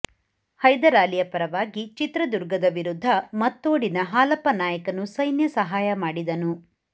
ಹೈದರಾಲಿಯ ಪರವಾಗಿ ಚಿತ್ರದುರ್ಗದ ವಿರುದ್ಧ ಮತ್ತೋಡಿನ ಹಾಲಪ್ಪನಾಯಕನು ಸೈನ್ಯ ಸಹಾಯ ಮಾಡಿದನು